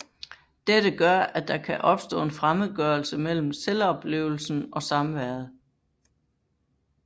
Dette gør at der kan opstå en fremmedgørelse mellem selvoplevelsen og samværet